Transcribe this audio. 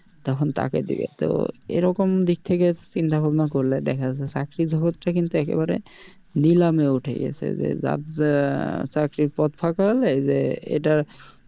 তখন তাকে দিবে তো এরকম দিক থেকে চিন্তা ভাবনা করলে দেখা যাচ্ছে চাকরি জগৎ টা কিন্তু একবারে নিলামে উঠে গেছে যে যার যা চাকরির পদ ফাঁকা হলে যে এটা,